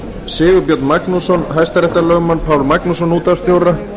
sigurbjörn magnússon hæstaréttarlögmann pál magnússon útvarpsstjóra